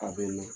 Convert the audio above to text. A bɛ na